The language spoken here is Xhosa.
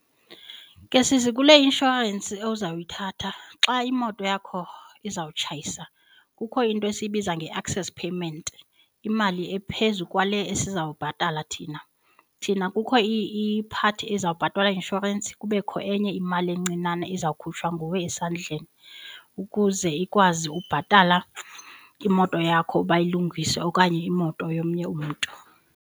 Ke sisi kule inshorensi ozawuyithatha xa imoto yakho izawutshayisa kukho into esiyibiza nge-access payment. imali ephezu kwale esizawubhatala thina. Thina kukho i-part ezawubhatalwa inshorensi kubekho enye imali encinane izawukhutshwa nguwe esandleni ukuze ikwazi ubhatala imoto yakho bayilungise okanye imoto yomnye umntu.